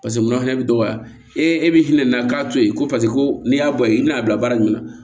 mura fɛnɛ bi dɔgɔya e bi hinɛ na k'a to yen ko ko n'i y'a bɔ yen i bɛna a bila baara jumɛn na